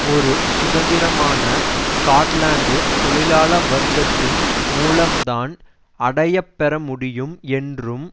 ஒரு சுதந்திரமான ஸ்காட்லாந்து தொழிலாள வர்க்கத்தின் மூலம்தான் அடையப்பெற முடியும் என்றும்